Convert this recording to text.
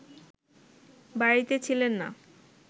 বাড়িতে ছিলেন না